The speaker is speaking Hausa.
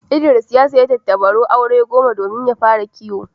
Idris ya sayi tattabaru aure goma domin fara kiwo.